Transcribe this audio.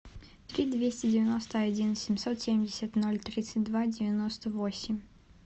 три двести девяносто один семьсот семьдесят ноль тридцать два девяносто восемь